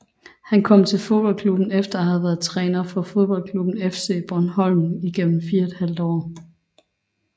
Han kom til fodboldklubben efter at have været træner for fodboldklubben FC Bornholm igennem 4½ år